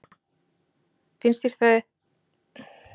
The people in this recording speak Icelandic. Brynja: Finnst þér ekki að þetta sé óþarflega langur tími?